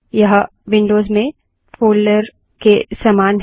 यह विन्डोज़ में फ़ोल्डरों के समान है